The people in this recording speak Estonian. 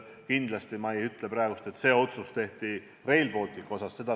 Kindlasti ei ütle ma praegu, et see otsus tehti Rail Balticu osas.